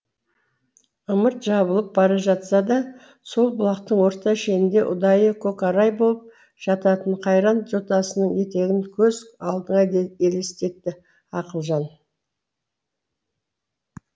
ымырт жабылып бара жатса да сол бұлақтың орта шенінде ұдайы көкорай болып жататын қайран жотасының етегін көз алдына елестетті ақылжан